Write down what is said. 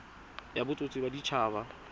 ya bodit habat haba e